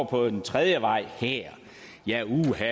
på en tredje vej det er uha